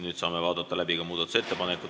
Nüüd saame läbi vaadata muudatusettepaneku.